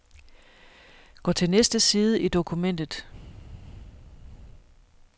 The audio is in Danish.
Gå til næste side i dokumentet.